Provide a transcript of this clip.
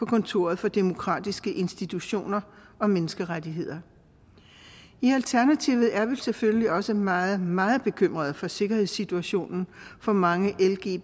kontoret for demokratiske institutioner og menneskerettigheder i alternativet er vi selvfølgelig også meget meget bekymrede for sikkerhedssituationen for mange lgbti